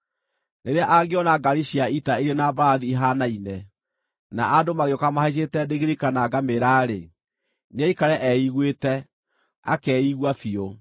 Rĩrĩa angĩona ngaari cia ita irĩ na mbarathi ihaanaine, na andũ magĩũka mahaicĩte ndigiri kana ngamĩĩra-rĩ, nĩaikare eiguĩte, akeigua biũ.”